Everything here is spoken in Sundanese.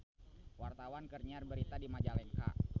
Wartawan keur nyiar berita di Majalengka